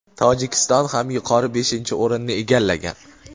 Tojikiston ham yuqori beshinchi o‘rinni egallagan.